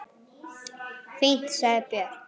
Fínt, sagði Björn.